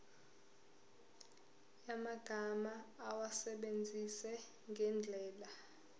yamagama awasebenzise ngendlela